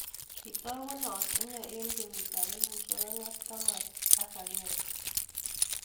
Kitagunot inee eng kenyiit ap elfusiek oeng ak taman ak agengw